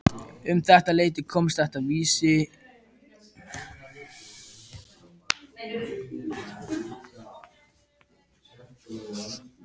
Um þetta leyti komst þessi vísa hér í hámæli